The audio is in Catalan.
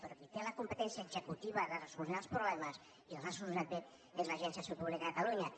però qui té la competència executiva de solucionar els problemes i els ha solucionat bé és l’agència de salut pública de catalunya